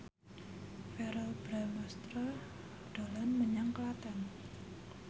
Verrell Bramastra dolan menyang Klaten